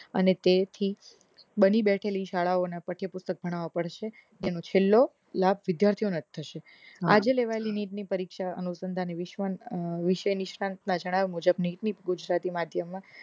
અને તેથી બેઠેલી બની શાળાઓ ના પછી પુસ્તક ભણાવા પડશે તેનો છેલ્લો લાભ વિદ્યાર્થીઓ ને જ થશે આજે લેવાયેલી નીટ ની પરીક્ષા અનુસંધાને વિશેની સ્થાન્તા ચડાવ્યા મુજબ ની ગુજરાતી માધ્યમની અને તેથી